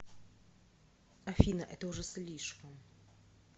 афина это уже слишком